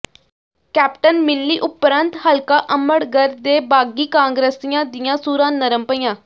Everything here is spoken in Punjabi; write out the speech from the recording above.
ਕੈਪਟਨ ਮਿਲਣੀ ਉਪਰੰਤ ਹਲਕਾ ਅਮਰਗੜ੍ਹ ਦੇ ਬਾਗੀ ਕਾਂਗਰਸੀਆਂ ਦੀਆਂ ਸੁਰਾਂ ਨਰਮ ਪਈਆਂ